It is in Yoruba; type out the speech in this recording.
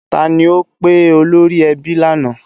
Ta ni ó pe olórí ẹbí lánàá?